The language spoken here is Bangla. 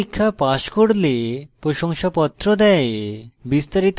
online পরীক্ষা pass করলে প্রশংসাপত্র দেয়